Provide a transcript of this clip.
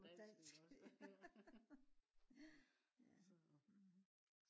dansk ja